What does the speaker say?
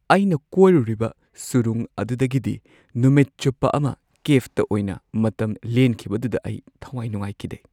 ꯑꯩꯅ ꯀꯣꯏꯔꯨꯔꯤꯕ ꯁꯨꯔꯨꯡ ꯑꯗꯨꯗꯒꯤꯗꯤ ꯅꯨꯃꯤꯠ ꯆꯨꯞꯄ ꯑꯃ ꯀꯦꯕꯇ ꯑꯣꯏꯅ ꯃꯇꯝ ꯂꯦꯟꯈꯤꯕꯗꯨꯗ ꯑꯩ ꯊꯋꯥꯏ ꯅꯨꯡꯉꯥꯏꯈꯤꯗꯦ꯫